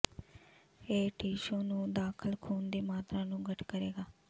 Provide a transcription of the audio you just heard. ਇਹ ਟਿਸ਼ੂ ਨੂੰ ਦਾਖਲ ਖੂਨ ਦੀ ਮਾਤਰਾ ਨੂੰ ਘੱਟ ਕਰੇਗਾ